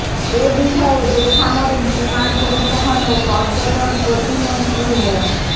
এ বিষয়ে বেসামরিক বিমান পরিবহন ও পর্যটন প্রতিমন্ত্রী মো